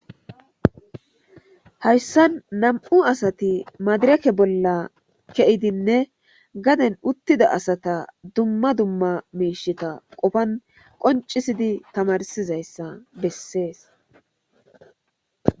Hayssan nam7u asati maadirake bolla ke7idinne gaden uttida asata dumma dumma miishita qofan qoncisidi tamarsizayssa bessees.